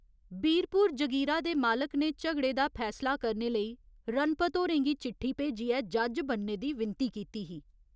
बीरपुर जगीरा दे मालक ने झगड़े दा फैसला करने लेई रणपत होरें गी चिट्ठी भेजियै जज्ज बनने दी विनती कीती ही।